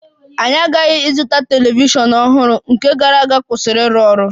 Anyị aghaghị ịzụta telivishọn ọhụrụ, nke gara aga kwụsịrị ịrụ ọrụ